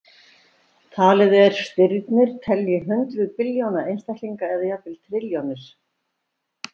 Talið er stirnir telji hundruð billjóna einstaklinga eða jafnvel trilljónir.